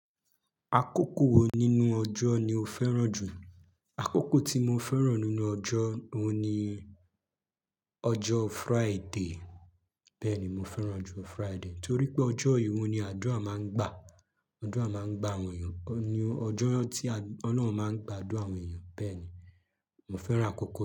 Akókò wo nínú ọjọ́ ni o fẹ́ràn jù? Akókò tí mo fẹ́ràn nínú ọjọ́ oun ni ọjọ́ Friday. Bẹ́ẹ̀ni, mo fẹ́ràn ọjọ́ Friday torí pé ọjọ́ eyi oun ni àdúrà máa ń gbà. Àdúrà máa ń gbà àwọn èèyàn. Ni ọjọ́ tí Ọlọ́run máa ń gbàdúrà àwọn èèyàn. Bẹ́ẹ̀ni, mo fẹ́ràn akókò náà.